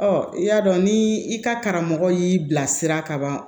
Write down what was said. Ɔ i y'a dɔn ni i ka karamɔgɔ y'i bilasira kaban